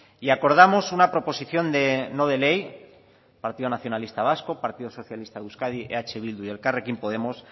y acordamos una proposición no de ley partido nacionalista vasco partido socialista de euskadi eh bildu y elkarrekin podemos